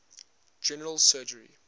general surgery